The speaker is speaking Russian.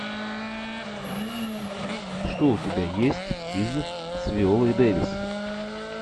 что у тебя есть из с виолой дэвис